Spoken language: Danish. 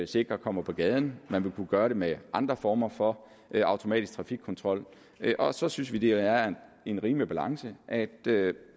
sikrer kommer på gaden man ville kunne gøre det med andre former for automatisk trafikkontrol og så synes vi at det er en rimelig balance at